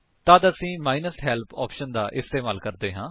ਤੱਦ ਅਸੀ -help option ਦਾ ਇਸਤੇਮਾਲ ਕਰਦੇ ਹਾਂ